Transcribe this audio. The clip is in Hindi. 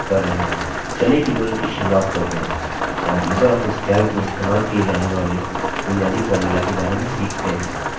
चलिए tutorial की शुरुआत करते हैं और libreoffice calc में इस्तेमाल किए जाने वाले बुनियादी formulas के बारे में सीखते हैं